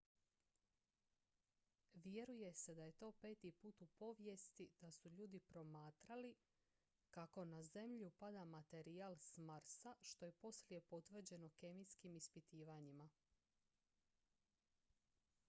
vjeruje se da je to peti put u povijesti da su ljudi promatrali kako na zemlju pada materijal s marsa što je poslije potvrđeno kemijskim ispitivanjima